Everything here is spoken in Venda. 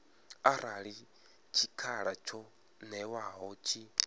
arali tshikhala tsho ṅewaho tshi